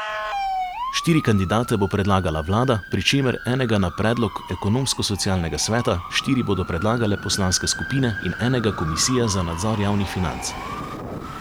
Štiri kandidate bo predlagala vlada, pri čemer enega na predlog Ekonomsko socialnega sveta, štiri bodo predlagale poslanske skupine in enega komisija za nadzor javnih financ.